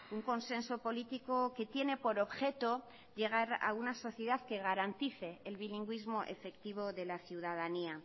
un consenso político que tiene por objeto llegar a una sociedad que garantice el bilingüismo efectivo de la ciudadanía